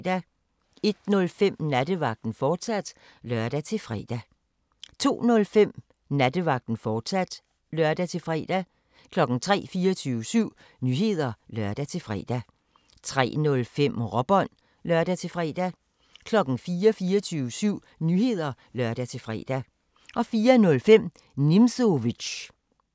01:05: Nattevagten, fortsat (lør-fre) 02:00: 24syv Nyheder (lør-fre) 02:05: Nattevagten, fortsat (lør-fre) 03:00: 24syv Nyheder (lør-fre) 03:05: Råbånd (lør-fre) 04:00: 24syv Nyheder (lør-fre) 04:05: Nimzowitsch